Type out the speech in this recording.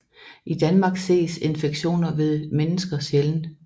I Danmark ses infektioner ved mennesker sjældent